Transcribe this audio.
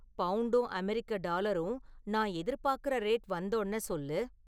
பவுண்டும் அமெரிக்க டாலரும் நான் எதிர்பாக்குற ரேட் வந்தோன சொல்லு